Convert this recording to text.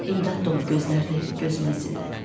İmdad dolu gözlərini gözümə zillədi.